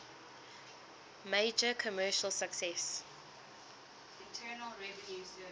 major commercial success